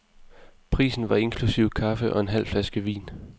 Prisen var inklusive kaffe og en halv flaske vin.